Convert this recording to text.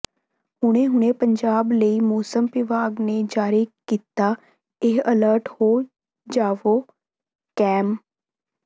ਹੁਣੇ ਹੁਣੇ ਪੰਜਾਬ ਲਈ ਮੌਸਮ ਵਿਭਾਗ ਨੇ ਜਾਰੀ ਕੀਤਾ ਇਹ ਅਲਰਟ ਹੋ ਜਾਵੋ ਕੈਂਮ